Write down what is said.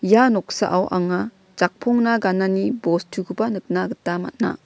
ia noksao anga jakpongna ganani bostukoba nikna gita man·a.